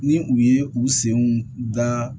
Ni u ye u senw da